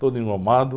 Todo engomado.